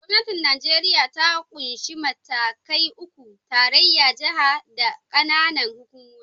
Gwamnatin Nijeriya ta ƙunshi matakai uku: tarayya, jiha, da ƙananan hukumomi.